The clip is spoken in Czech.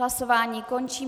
Hlasování končím.